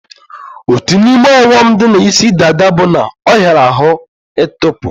Otu n'ime ọghọm dị na isi dada bụ na ọ hiara ahụ ị tọpu